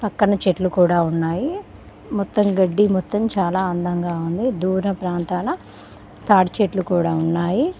పక్కన చెట్లు కూడా ఉన్నాయి మొత్తం గడ్డి మొత్తం చాలా అందంగా ఉంది దూర ప్రాంతాల తాటి చెట్లు కూడా ఉన్నాయి.